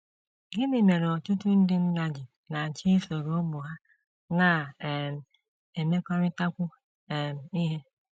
Gịnị mere ọtụtụ ndị nna ji na - achọ isoro ụmụ ha na - um emekọrịtakwu um ihe?